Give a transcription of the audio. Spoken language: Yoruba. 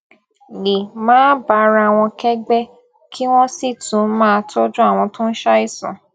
lè máa bára wọn kégbé kí wón sì tún máa tójú àwọn tó ń ṣàìsàn